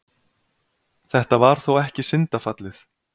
Þetta var þó ekki syndafallið.